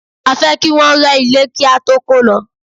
A fẹ́ kí Wọ́n rẹ́ ilé kí á tó kó lọ.